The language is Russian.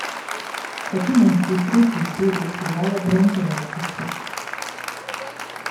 хочу найти третью серию сериала бронзовая птица